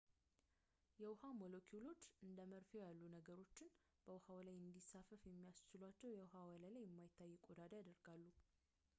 የውሃ ሞለኪውሎች እንደ መርፌው ያሉ ነገሮች በውሃው ላይ እንዲንሳፈፉ የሚያስችላቸውን የውሃ ወለል ላይ የማይታይ ቆዳ ያደርጋሉ